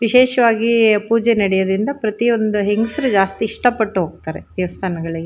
ವಿಶೇಷವಾಗಿ ಪೂಜೆ ನಡೆಯುದರಿಂದ ಪ್ರತಿಯೊಂದು ಹೆಂಗಸ್ರು ಜಾಸ್ತಿ ಇಷ್ಟಪಟ್ಟು ಹೋಗತ್ತರೆ ದೇವಸ್ಥಾನಗಳಿಗೆ --